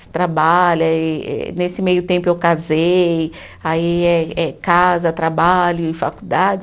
Se trabalha eh, e nesse meio tempo eu casei, aí é é casa, trabalho e faculdade.